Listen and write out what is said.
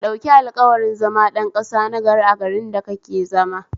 Ka ɗauki alƙawarin zama ɗan ƙasa nagari a garin da kake zama